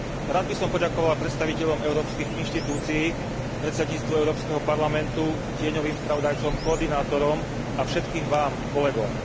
Rád by som poďakoval predstaviteľom európskych inštitúcií, predsedníctvu Európskeho parlamentu, tieňovým spravodajcom, koordinátorom a všetkým vám, kolegom.